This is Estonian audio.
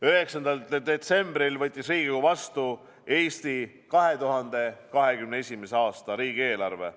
9. detsembril võttis Riigikogu vastu Eesti 2021. aasta riigieelarve.